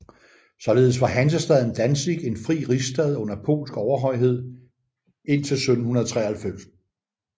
Således var hansestaden Danzig en fri rigsstad under polsk overhøjhed indtil 1793